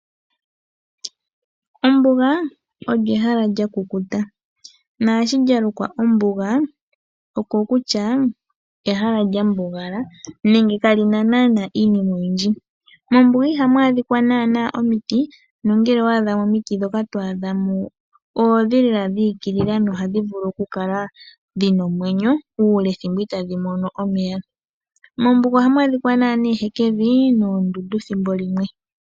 Ombuga olyo ehala lyakukuta, naashi lyalukwa ombuga okokutya ehala lyambugala nenge kalina naanaa iinima oyindji. Mombuga ihamu adhika naanaa omiti nongele owa adhamo omiti, ndhoka twaadha mo oondhi lela dhi igilila nohadhi vulu okukala dhina omwenyo uule thimbo itaadhi mono omeya. Mombuga ohamu adhika naanaa ehekevi noondundu thimbo limwe.